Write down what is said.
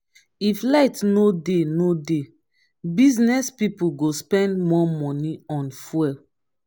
if light no dey no dey business pipo go spend more money on fuel.